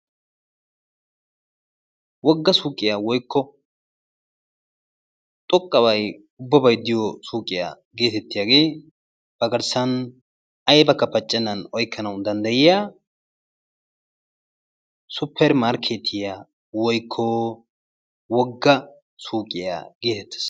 Woggaa suuqqiya woykko xoqqabay ubbay diyo suuqqiya geetetiyage a garssan aybaka paccenan oyqqqanawu danddayiya suppeer markkeetiya woykko wogga suuqqiya geetetes.